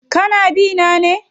Kana bi na ne?